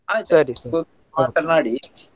ಸರಿ .